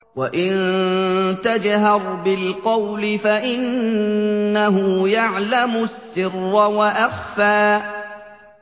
وَإِن تَجْهَرْ بِالْقَوْلِ فَإِنَّهُ يَعْلَمُ السِّرَّ وَأَخْفَى